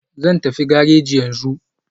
Zan tafi gareji yanzu.